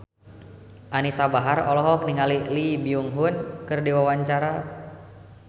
Anisa Bahar olohok ningali Lee Byung Hun keur diwawancara